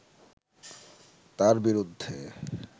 তাঁর বিরুদ্ধে